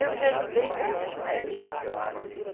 Eu já ajudei muitos médios.